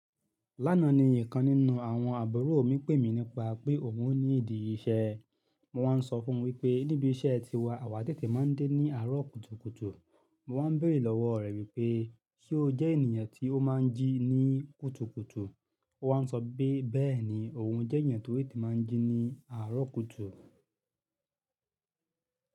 Lánàá ni ìkan nínú àwọn àbúrò mi pè mí nípa pé òun ó ní ìdí ìṣe. Mo wá sọ fún wípé níbi iṣẹ́ tiwa, àwa tètè máa ń dé ní àárọ̀ kùtùkùtù. Mo wá ń béèrè lọ́wọ́ rẹ̀ wípé ṣe ó jẹ́ ènìyàn tí ó má ń jí ní kùtùkùtù. Ó wá ń sọ pé bẹ́ẹ̀ni, òun jẹ́ eyàn tó te má ń jí ní àárọ̀ kùtù.